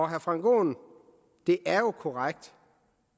herre frank aaen det er jo korrekt